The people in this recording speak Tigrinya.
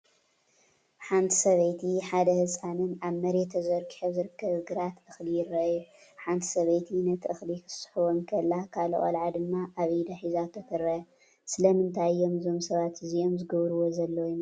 ሓንቲ ሰበይትን ሓደ ህጻንን ኣብ መሬት ተዘርጊሑ ኣብ ዝርከብ ግራት እኽሊ ይረኣዩ። ሓንቲ ሰበይቲ ነቲ እኽሊ ክትስሕቦ እንከላ፡ ካልእ ቆልዓ ድማ ኣብ ኢዳ ሒዛቶ ትርአ። ስለምንታይ እዮም እዞም ሰባት እዚኦም ዝገብርዎ ዘለዉ ይመስለኩም?